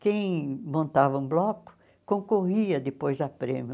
Quem montava um bloco concorria depois à prêmio.